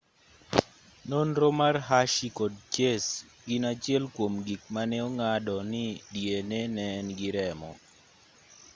nonro mar hershey kod chase gin achiel kuom gik mane ong'ado ni dna ne en gir remo